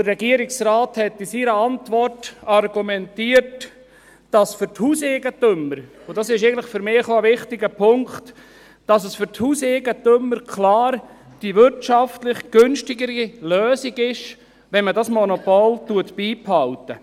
Der Regierungsrat argumentierte in seiner Antwort, dass es für die Hauseigentümer – und dies ist für mich ein wichtiger Punkt – klar die wirtschaftlich günstigere Lösung sei, wenn man dieses Monopol beibehält.